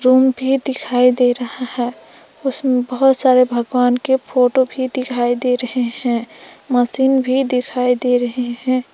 Room भी दिखाई दे रहा है उसमें बहुत सारे भगवान के फोटो भी दिखाई दे रहे हैं मशीन भी दिखाई दे रहे हैं।